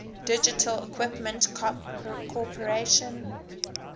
digital equipment corporation